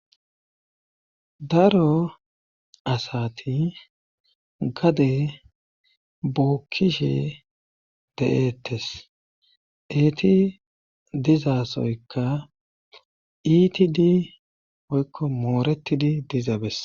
daro asati gade bookkishe de7eettes eeti dizasoykka itidi oykko mooretidi diza bes